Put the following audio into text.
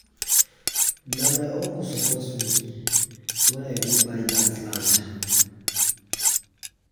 na my uncle support me wen i wan go buy dat land.